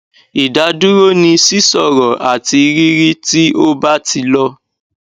idaduro ni sisoro ati riri ti o ba ti lo